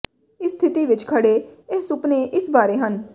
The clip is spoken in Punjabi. ਇਸ ਸਥਿਤੀ ਵਿਚ ਖੜ੍ਹੇ ਇਹ ਸੁਪਨੇ ਇਸ ਬਾਰੇ ਹਨ